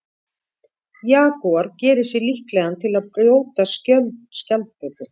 Jagúar gerir sig líklegan til að brjóta skjöld skjaldböku.